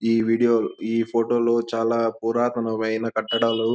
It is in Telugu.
ఈ వీడియో ఈ ఫోటో లో చాలా పురాతనమైన కట్టడాలు --